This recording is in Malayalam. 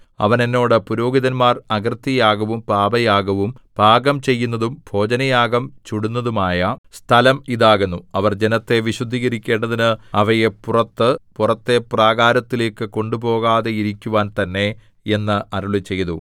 അവൻ എന്നോട് പുരോഹിതന്മാർ അകൃത്യയാഗവും പാപയാഗവും പാകം ചെയ്യുന്നതും ഭോജനയാഗം ചുടുന്നതുമായ സ്ഥലം ഇതാകുന്നു അവർ ജനത്തെ വിശുദ്ധീകരിക്കേണ്ടതിന് അവയെ പുറത്ത് പുറത്തെ പ്രാകാരത്തിലേക്കു കൊണ്ട് പോകാതെയിരിക്കുവാൻ തന്നെ എന്ന് അരുളിച്ചെയ്തു